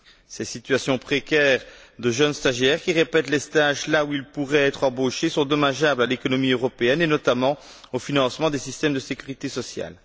Ces situations précaires de jeunes stagiaires, qui répètent les stages là où ils pourraient être embauchés, sont dommageables à l'économie européenne et notamment au financement des systèmes de sécurité sociale.